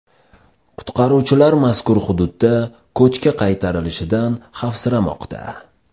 Qutqaruvchilar mazkur hududda ko‘chki qaytarilishidan xavfsiramoqda.